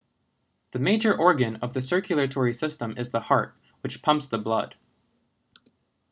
the major organ of the circulatory system is the heart which pumps the blood